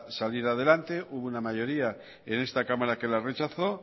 saliera adelante hubo una mayoría en esta cámara que la rechazó